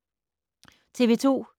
TV 2